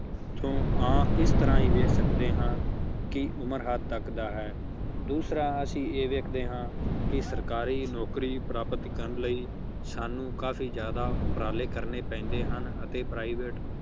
ਇੱਥੋਂ ਆਹ ਇਸ ਤਰ੍ਹਾਂ ਹੀ ਵੇਖ ਸਕਦੇ ਹਾਂ ਕਿ ਉਮਰ ਹੱਦ ਤੱਕ ਦਾ ਹੈ ਦੂਸਰਾ ਅਸੀਂ ਇਹ ਵੇਖਦੇ ਹਾਂ ਕਿ ਸਰਕਾਰੀ ਨੌਕਰੀ ਪ੍ਰਾਪਤ ਕਰਨ ਲਈ ਸਾਨੂੰ ਕਾਫ਼ੀ ਜ਼ਿਆਦਾ ਉਪਰਾਲੇ ਕਰਨੇ ਪੈਂਦੇ ਹਨ ਅਤੇ private